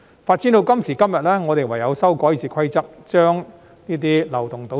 發展到今時今日，我們唯有修改《議事規則》，把這些漏洞堵塞。